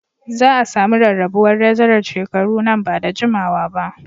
Za a sami rarrabuwar darajar shekaru nan ba da jimawa ba